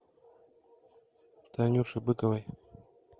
танюше быковой